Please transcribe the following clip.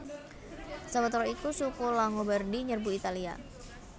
Sawetara iku suku Langobardi nyerbu Italia